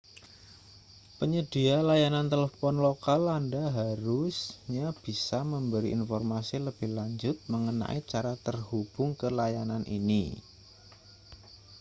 penyedia layanan telepon lokal anda seharusnya bisa memberi informasi lebih lanjut mengenai cara terhubung ke layanan ini